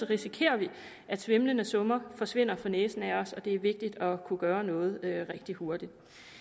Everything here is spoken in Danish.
risikerer vi at svimlende summer forsvinder for næsen af os det er vigtigt at kunne gøre noget rigtig hurtigt